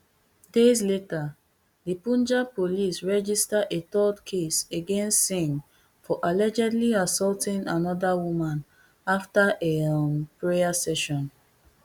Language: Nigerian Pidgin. days later di punjab police register a third case against singh for allegedly assaulting anoda woman afta a um prayer session